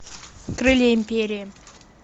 крылья империи